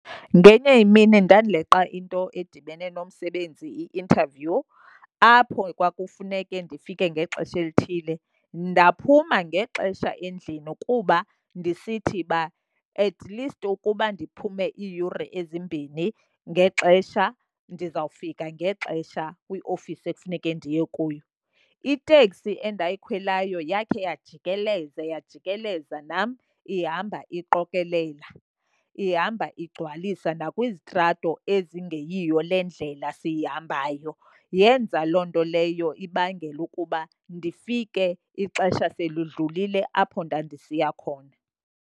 Ngenye imini ndandileqa into edibene nomsebenzi i-interview, apho kwakufuneke ndifike ngexesha elithile. Ndaphuma ngexesha endlini kuba ndisithi uba atleast ukuba ndiphume iiyure ezimbini ngexesha ndizawufika ngexesha kwiofisi ekufuneke ndiye kuyo. Iteksi endayikhweleyo yakhe yajikeleza, yajikeleza nam ihamba iqokelela, ihamba igcwalise nakwizitrato ezingeyiyo le ndlela siyihambayo. Yenza loo nto leyo ibangele ukuba ndifike ixesha selidlulile apho ndandisiya khona.